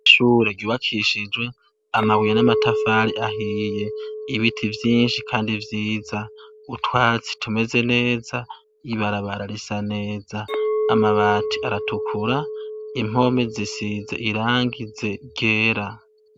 ishure ryubakishijwe amabuye n'amatafari ahiye ibiti byinshi kandi vyiza utwatsi tumeze neza ibarabara risa neza amabati aratukura impome zisize irangize gera